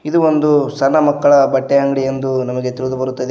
ಇದು ಒಂದು ಸಣ್ಣ ಮಕ್ಕಳ ಬಟ್ಟೆ ಅಂಗಡಿ ಎಂದು ನಮಗೆ ತಿಳಿದು ಬರುತ್ತದೆ.